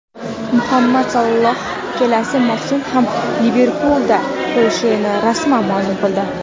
Muhammad Saloh kelasi mavsum ham "Liverpul"da qolishini rasman ma’lum qildi;.